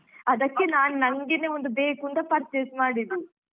ಅದಕ್ಕೆ ನಾನ್ ನಂಗೇನೇ ಒಂದು ಬೇಕುಂತ purchase ಮಾಡಿದ್ದು.